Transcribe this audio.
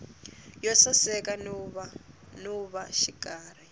yo saseka no va xikarhi